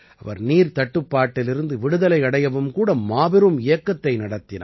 நீர்த் தட்டுப்பாட்டிலிருந்து விடுதலை அடையவும் கூட மாபெரும் இயக்கத்தை அவர் நடத்தினார்